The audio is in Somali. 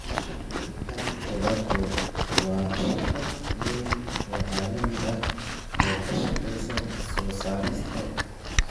British American Tobacco waa shirkad weyn oo caalami ah oo ka shaqeysa soo saarista,